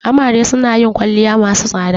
Amare suna yin kwalliya masu tsada.